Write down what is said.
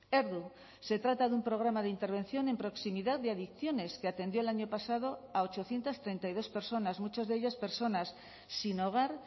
erdu se trata de un programa de intervención en proximidad de adicciones que atendió el año pasado a ochocientos treinta y dos personas muchas de ellas personas sin hogar